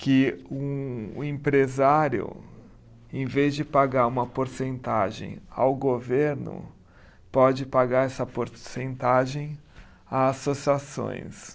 que um, o empresário, em vez de pagar uma porcentagem ao governo, pode pagar essa porcentagem a associações.